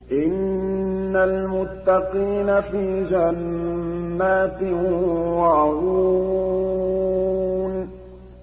إِنَّ الْمُتَّقِينَ فِي جَنَّاتٍ وَعُيُونٍ